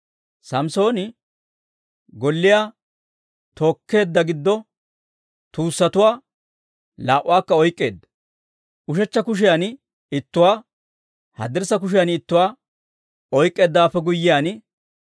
Samssooni golliyaa tookkeedda giddo tuussatuwaa laa"uwaakka oyk'k'eedda. Ushechcha kushiyan ittuwaa, haddirssa kushiyan ittuwaa oyk'k'eeddawaappe guyyiyaan,